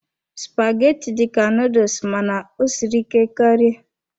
Spaghetti dị ka noodles mana ọ siri ike karị.